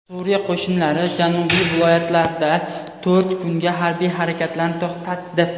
Suriya qo‘shinlari janubiy viloyatlarda to‘rt kunga harbiy harakatlarni to‘xtatdi.